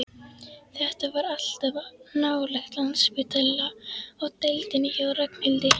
Þetta var allt of nálægt Landspítala og deildinni hjá Ragnhildi.